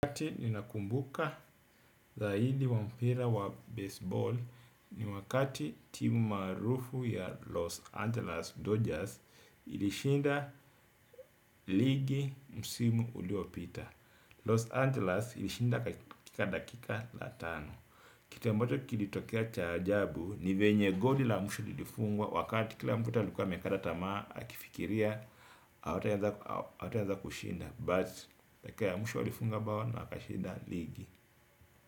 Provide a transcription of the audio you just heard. Wakati nina kumbuka zaidi wa mpira wa baseball ni wakati timu maarufu ya Los Angeles Dodgers ilishinda ligi msimu uliopita. Los Angeles ilishinda kakika dakika la tano. Kitu ambacho kilitokea cha ajabu ni venye goli la mshu lilifungwa wakati kila mtu alikua amekata tamaa akifikiria hawataweza kushinda. But dakika ya mwisho walifunga bao na wakashinda.